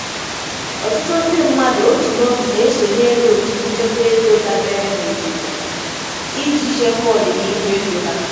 Ọtụtụ ndị mmadụ otu n'otu na-esonyere otu nchekwa ego dabere na obodo iji chekwaa ọdịnihu ego ha.